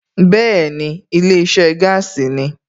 Bẹ́ẹ̀ni ilé iṣẹ́ gaasi ni